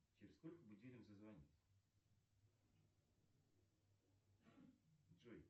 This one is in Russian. через сколько будильник зазвонит джой